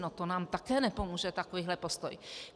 No to nám také nepomůže, takovýhle postoj.